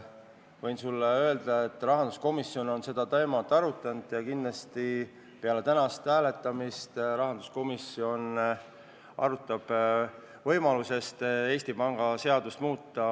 Võin sulle öelda, et rahanduskomisjon on seda teemat arutanud ja kindlasti me peale tänast hääletamist kaalume võimalust Eesti Panga seadust muuta.